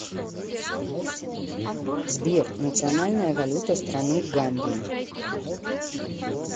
сбер национальная валюта страны гамбии